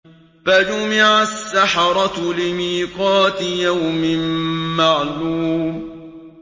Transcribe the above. فَجُمِعَ السَّحَرَةُ لِمِيقَاتِ يَوْمٍ مَّعْلُومٍ